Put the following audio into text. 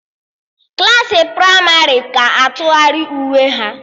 Klassị pramarị ga-atụgharị uwe ha